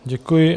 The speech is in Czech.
Děkuji.